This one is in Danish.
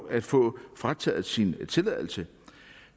at få frataget sin tilladelse